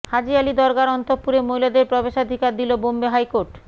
হাজি আলি দরগার অন্তঃপুরে মহিলাদের প্রবেশাধিকার দিল বম্বে হাইকোর্ট